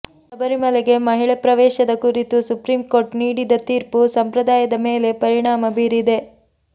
ಶಬರಿಮಲೆಗೆ ಮಹಿಳೆ ಪ್ರವೇಶದ ಕುರಿತು ಸುಪ್ರೀಂ ಕೋರ್ಟ್ ನೀಡಿದ ತೀರ್ಪು ಸಂಪ್ರದಾಯದ ಮೇಲೆ ಪರಿಣಾಮ ಬೀರಿದೆ